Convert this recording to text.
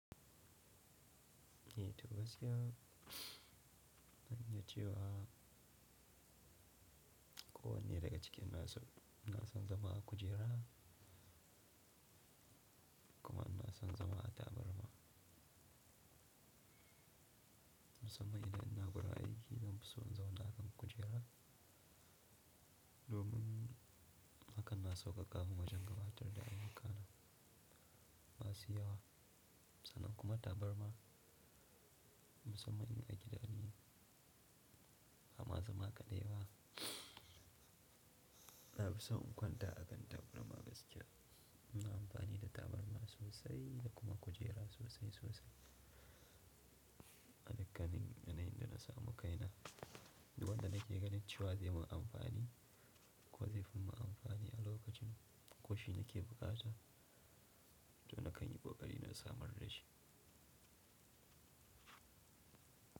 Eh toh gaskiya, zan iya cewa kowane daga cikin nasu na son zama a kujera kuma ina son zama a tabarma. Musamman idan ina wurin aiki zan fi so in zauna akan kujera domin hakan na sauƙaƙa mun wajen gabatar da ayyukana. Masu waya sannan kuma tabarma musamman in a gida ne, amma zama kaɗai ba. Na fi son in kwanta a kan tabarma gaskiya. Ina amfani da tabarma sosai da kuma kujera sosai sosai. A dukkanin yanayin da na samu kaina, duk wanda nake ganin cewa zai mun amfani ko zai fi mun amfani a lokacin ko shi nake bukata, to na kan yi ƙoƙari na samar da shi.